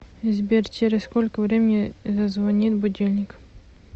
сбер через сколько времени зазвонит будильник